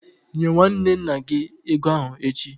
Nye nwanne nna gị ego ahụ echi!